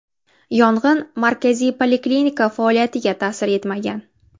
Yong‘in markaziy poliklinika faoliyatiga ta’sir etmagan.